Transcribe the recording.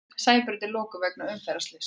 Sæbraut lokuð vegna umferðarslyss